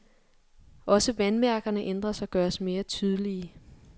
Også vandmærkerne ændres og gøres mere tydelige.